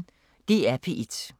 DR P1